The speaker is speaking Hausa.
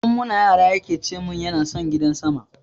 Tun muna yara yake cemun yana son gidan sama